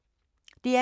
DR K